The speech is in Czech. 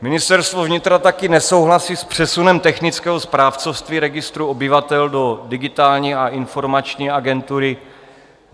Ministerstvo vnitra také nesouhlasí s přesunem technického správcovství Registru obyvatel do Digitální a informační agentury.